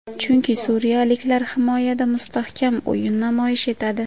Chunki suriyaliklar himoyada mustahkam o‘yin namoyish etadi.